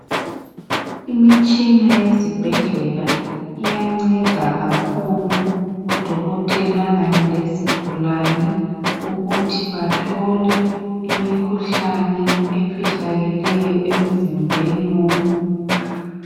Imitshina yezibhedlela iyanceda kakhulu, udokotela kanye lezigulane, Ukuthi bathole imikhuhlane efihlakeleyo emzimbeni womuntu.